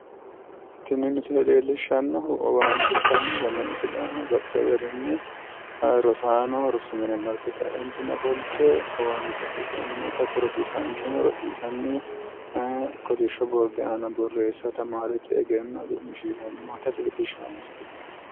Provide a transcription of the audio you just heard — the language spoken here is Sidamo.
tini misile leellishshannohu owaante ikkanna tenne misilera baxxino garinni rosaano rosu mine marte kaeentinni ofolte owaante afidhanni noota hattono rosiisaanchu rosiisanni kolishshu borde aana borreesse tamaarete egenno cu'mishiisheanni noota leellishshanno misileeti.